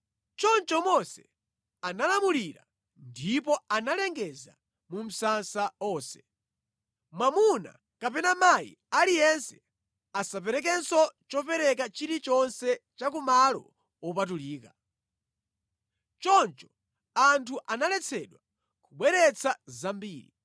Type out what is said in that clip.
Choncho Mose analamulira ndipo analengeza mu msasa onse, “Mwamuna kapena mayi aliyense asaperekenso chopereka chilichonse cha ku malo wopatulika.” Choncho anthu analetsedwa kubweretsa zambiri,